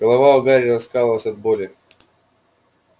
голова у гарри раскалывалась от боли